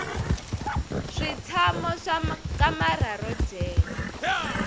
switshamo swa kamara ro dyela